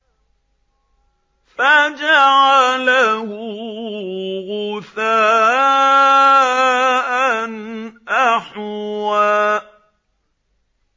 فَجَعَلَهُ غُثَاءً أَحْوَىٰ